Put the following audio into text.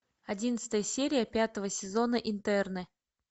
одиннадцатая серия пятого сезона интерны